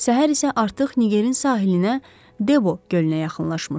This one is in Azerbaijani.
Səhər isə artıq Ngerin sahilinə Debo gölünə yaxınlaşmışdı.